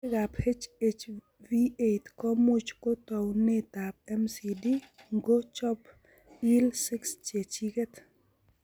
Kutikab HHV 8 ko much ko taunetab MCD ngo chob IL 6 chechiget.